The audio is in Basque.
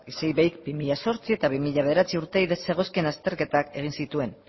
isei iveik bi mila zortzi eta bi mila bederatzi urteei zegozkien azterketak egin zituen